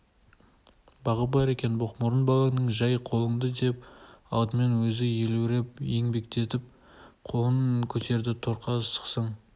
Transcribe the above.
бағы бар екен боқмұрын балаңның жай қолыңды деп алдымен өзі елеуреп ербеңдетіп қолын көтерді торқа сықсың